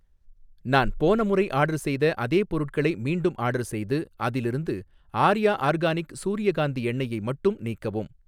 நான் போன முறை ஆர்டர் செய்த அதே பொருட்களை மீண்டும் ஆர்டர் செய்து, அதிலிருந்த ஆர்யா ஆர்கானிக் சூரியகாந்தி எண்ணெய்யை மட்டும் நீக்கவும்